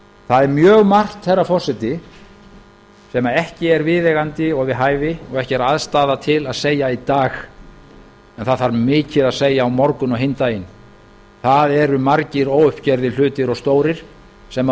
það er mjög margt herra forseti sem ekki er viðeigandi og við hæfi og ekki er aðstaða til að segja í dag en það þarf mikið að segja á morgun og hinn daginn það eru margir óuppgerðir hlutir og stórir sem